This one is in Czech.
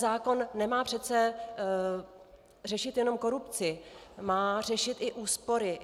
Zákon nemá přece řešit jen korupci, má řešit i úspory.